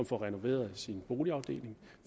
får renoveret sin boligafdeling